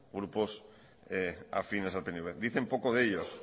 grupos afines al pnv dicen poco de ellos